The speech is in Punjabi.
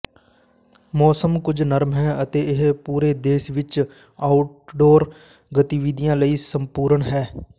ਮੌਸਮ ਕੁਝ ਨਰਮ ਹੈ ਅਤੇ ਇਹ ਪੂਰੇ ਦੇਸ਼ ਵਿਚ ਆਊਟਡੋਰ ਗਤੀਵਿਧੀਆਂ ਲਈ ਸੰਪੂਰਨ ਹੈ